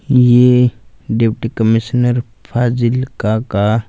ये deputy commissioner Fazilka का--